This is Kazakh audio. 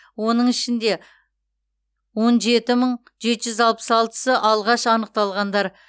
оның ішінде он жеті мың алты жүз алпыс алтысы алғаш анықталғандар